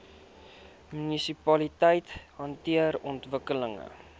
munisipaliteite hanteer ontwikkeling